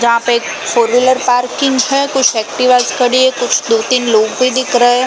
जहाँ पे एक फोर व्हीलर पार्किंग है कुछ एक्टिवास खड़ी है कुछ दो तीन लोग भी दिख रहे हैं ।